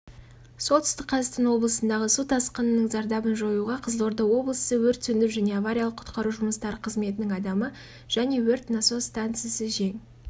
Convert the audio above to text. солтүстік қазақстан облысындағы су тасқынының зардабын жоюға қызылорда облысы өрт сөндіру және авариялық-құтқару жұмыстары қызметінің адамы және өрт насос станциясы жең